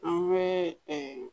An bɛ